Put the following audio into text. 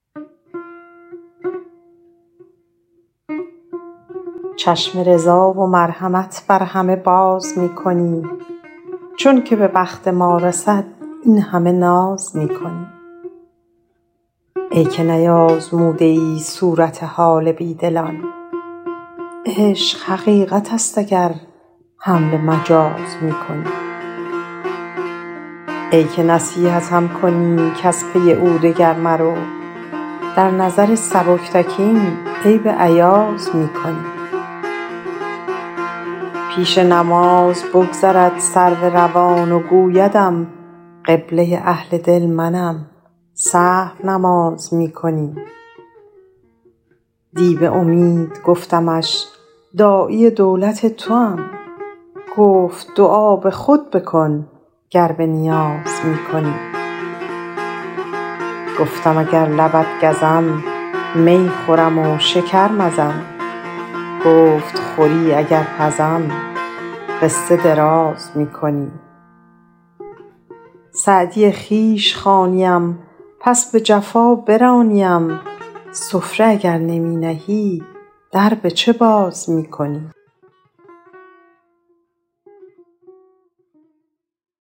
چشم رضا و مرحمت بر همه باز می کنی چون که به بخت ما رسد این همه ناز می کنی ای که نیآزموده ای صورت حال بی دلان عشق حقیقت است اگر حمل مجاز می کنی ای که نصیحتم کنی کز پی او دگر مرو در نظر سبکتکین عیب ایاز می کنی پیش نماز بگذرد سرو روان و گویدم قبله اهل دل منم سهو نماز می کنی دی به امید گفتمش داعی دولت توام گفت دعا به خود بکن گر به نیاز می کنی گفتم اگر لبت گزم می خورم و شکر مزم گفت خوری اگر پزم قصه دراز می کنی سعدی خویش خوانیم پس به جفا برانیم سفره اگر نمی نهی در به چه باز می کنی